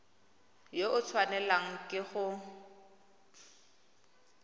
yo o tshwanelang ke go